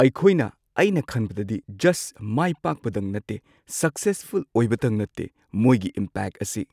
ꯑꯩꯈꯣꯏꯅ ꯑꯩꯅ ꯈꯟꯕꯗꯗꯤ ꯖꯁ ꯃꯥꯏꯄꯥꯛꯄꯗꯪ ꯅꯠꯇꯦ, ꯁꯛꯁꯦꯁꯐꯨꯜ ꯑꯣꯏꯕꯇꯪ ꯅꯠꯇꯦ ꯃꯣꯏꯒꯤ ꯏꯝꯄꯦꯛ ꯑꯁꯤ꯫